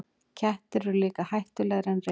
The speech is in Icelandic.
Kettir eru líka hættulegri en refir.